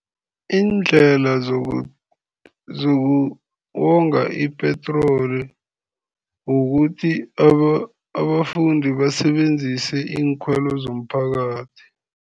Iindlela zokonga ipetroli kukuthi abafundi basebenzise iinkhwelo zomphakathi.